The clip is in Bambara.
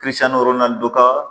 dɔ ka